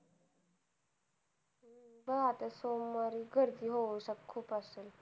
हा आता सोमवारी गर्दी हो खूप असते.